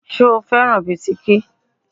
Ṣo fẹ́ràn bisikí?